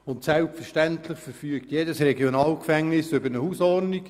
Und selbstverständlich verfügt jedes Regionalgefängnis über eine Hausordnung.